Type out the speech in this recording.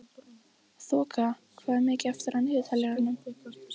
Þoka, hvað er mikið eftir af niðurteljaranum?